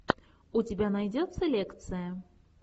у тебя найдется лекция